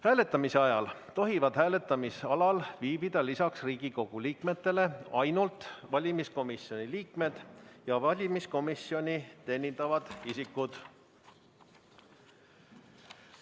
Hääletamise ajal tohivad hääletamisalal viibida lisaks Riigikogu liikmetele ainult valimiskomisjoni liikmed ja valimiskomisjoni teenindavad isikud.